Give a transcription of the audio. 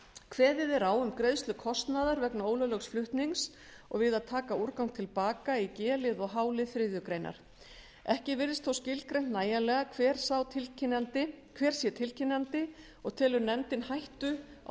kveðið er á um greiðslu kostnaðar vegna ólöglegs flutnings og við að taka úrgang til baka í g lið og h lið þriðju grein ekki virðist þó skilgreint nægilega hver sé tilkynnandi og telur nefndin hættu á